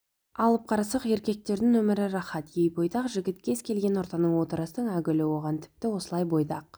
алып қарасақ еркектердің өмірі рахат-ей бойдақ жігіт кез-келген ортаның отырыстың әгүлі оған тіпті осылай бойдақ